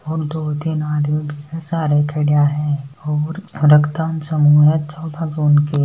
और तीन आदमी बी के सारे खड़ा है। और रक्तदान समूह --